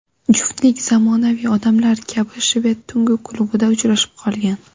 Juftlik zamonaviy odamlar kabi shved tungi klubida uchrashib qolgan.